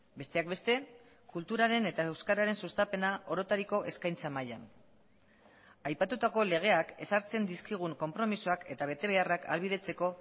besteak beste kulturaren eta euskararen sustapena orotariko eskaintza mailan aipatutako legeak ezartzen dizkigun konpromisoak eta betebeharrak ahalbidetzeko